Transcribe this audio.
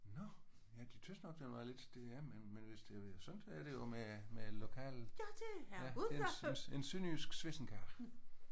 Nåh ja de syntes godt nok den var lidt det ja men men hvis det sådan er det jo med med lokalet. En sønderjysk swissenkage